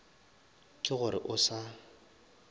ke go re o sa